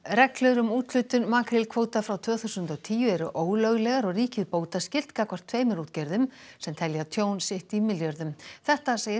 reglur um úthlutun makrílkvóta frá tvö þúsund og tíu eru ólöglegar og ríkið bótaskylt gagnvart tveimur útgerðum sem telja tjón sitt í milljörðum þetta segir